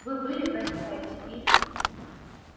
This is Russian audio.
вы были в вест-пойнте и